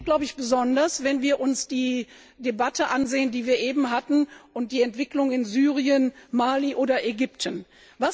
Das gilt, glaube ich, besonders, wenn wir uns die Debatte, die wir eben hatten, und die Entwicklung in Syrien, Mali oder Ägypten ansehen.